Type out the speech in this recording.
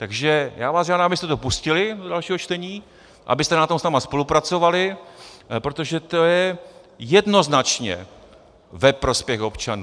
Takže já vás žádám, abyste to pustili do dalšího čtení, abyste na tom s námi spolupracovali, protože to je jednoznačně ve prospěch občanů.